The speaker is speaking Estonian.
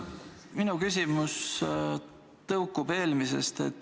Minu küsimus tõukub eelmisest.